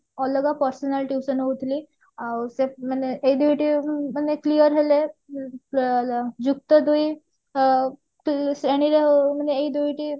ଅଲଗା personal tuition ହଉଥିଲି ଆଉ ସେ ମାନେ ଏଇ ଦୁଇଟି ଉଁ ମାନେ clear ହେଲେ ଅ ଯୁକ୍ତ ଦୁଇ ଅ ଶ୍ରେଣୀରେ ମାନେ ଏଇ ଦୁଇଟି